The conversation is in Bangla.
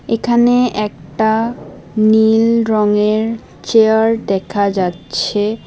এখানে একটা নীল রঙের চেয়ার দেখা যাচ্ছে